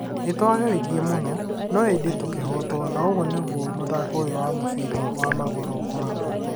Nĩtwagerirrie muno, no ĩndĩ tũkĩhotwo na ũguo nĩguo mũthako ũyu wa mũbira wa magũrũ ũkoragwo